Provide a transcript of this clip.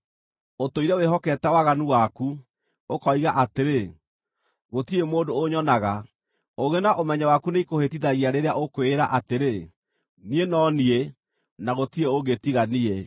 Ũtũire wĩhokete waganu waku, ũkoiga atĩrĩ, ‘Gũtirĩ mũndũ ũnyonaga.’ Ũũgĩ na ũmenyo waku nĩikũhĩtithagia rĩrĩa ũkwĩĩra atĩrĩ, ‘Niĩ no niĩ, na gũtirĩ ũngĩ tiga niĩ.’